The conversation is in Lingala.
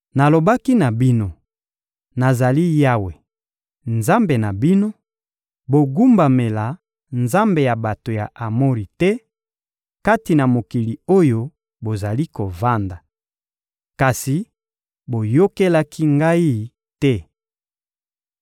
Nalobaki na bino: Nazali Yawe, Nzambe na bino; bogumbamela nzambe ya bato ya Amori te, kati na mokili oyo bozali kovanda. Kasi boyokelaki Ngai te.›»